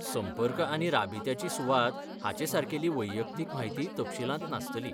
संपर्क आनी राबित्याची सुवात हाचेसारकेली वैयक्तीक म्हायती तपशीलांत नासतली.